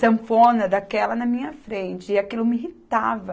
sanfona daquela na minha frente, e aquilo me irritava.